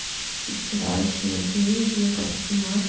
и вчера ещё на тренинге я как-то поняла чт